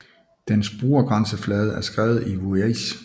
Dens brugergrænseflade er skrevet i VueJS